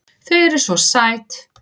Þau eru SVO SÆT!